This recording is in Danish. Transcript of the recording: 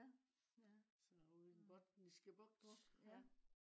ja ja bugt ja